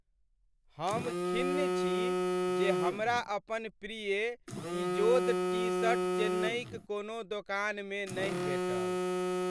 हम खिन्न छी जे हमरा अपन प्रिय इजोद टी शर्ट चेन्नइक कोनो दोकानमे नहि भेटल ।